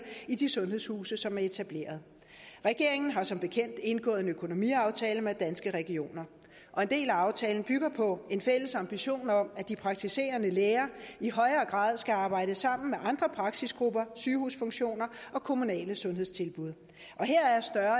i de sundhedshuse som er etableret regeringen har som bekendt indgået en økonomiaftale med danske regioner og en del af aftalen bygger på en fælles ambition om at de praktiserende læger i højere grad skal arbejde sammen med andre praksisgrupper sygehusfunktioner og kommunale sundhedstilbud og her